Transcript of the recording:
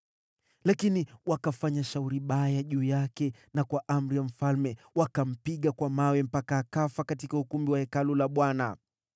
Lakini wakafanya shauri baya juu yake na kwa amri ya mfalme wakampiga kwa mawe mpaka akafa katika ukumbi wa Hekalu la Bwana .